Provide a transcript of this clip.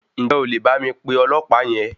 Ǹjẹ́ o lè bá mi pe ọlọ̀pàá yẹn?